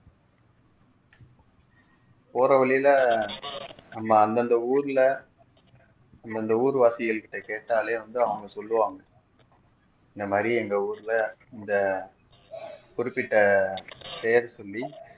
போற வழியில நம்ம அந்தந்த ஊர்ல அந்தந்த ஊர்வாசிகள்கிட்ட கேட்டாலே வந்து அவங்க சொல்லுவாங்க இந்தமாறி எங்க ஊருல இந்த குறிப்பிட்ட பெயர் சொல்லி